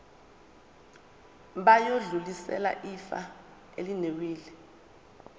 bayodlulisela ifa elinewili